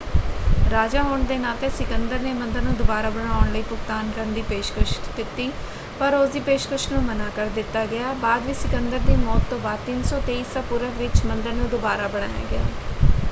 ਰਾਜਾ ਹੋਣ ਦੇ ਨਾਤੇ ਸਿਕੰਦਰ ਨੇ ਮੰਦਰ ਨੂੰ ਦੁਬਾਰਾ ਬਣਾਉਣ ਲਈ ਭੁਗਤਾਨ ਕਰਨ ਦੀ ਪੇਸ਼ਕਸ਼ ਦਿੱਤੀ ਪਰ ਉਸਦੀ ਪੇਸ਼ਕਸ਼ ਨੂੰ ਮਨ੍ਹਾਂ ਕਰ ਦਿੱਤਾ ਗਿਆ। ਬਾਅਦ ਵਿੱਚ ਸਿਕੰਦਰ ਦੀ ਮੌਤ ਤੋਂ ਬਾਅਦ 323 ਈਸਾ ਪੂਰਵ ਵਿੱਚ ਮੰਦਰ ਨੂੰ ਦੁਬਾਰਾ ਬਣਾਇਆ ਗਿਆ।